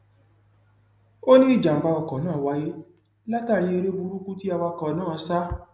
ó ní ìjàmbá ọkọ náà wáyé látàrí eré burúkú tí awakọ náà sá